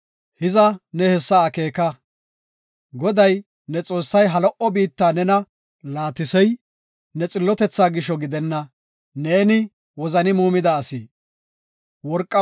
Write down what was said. Hiza ne hessa akeeka. Goday, ne Xoossay ha lo77o biitta nena laatisey ne xillotethaa gishosa gidenna; neeni wozani muumida asi.